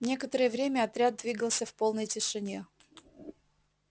некоторое время отряд двигался в полной тишине